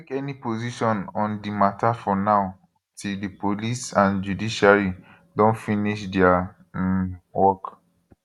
take any position on di matter for now until di police and judiciary don finish dia um work